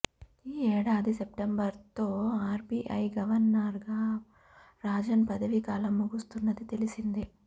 ఈ ఏడాది సెప్టెంబర్తో ఆర్బిఐ గవర్నర్గా రాజన్ పదవీకాలం ముగుస్తున్నది తెలిసిందే